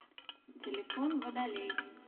телефон водолей